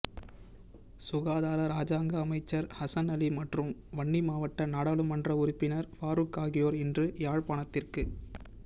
சுகாதார இராஜாங்க அமைச்சர் ஹசன் அலி மற்றும் வன்னி மாவட்ட நாடாளுமன்ற உறுப்பினர் பாரூக் ஆகியோர் இன்று யாழ்ப்பாணத்திற்கு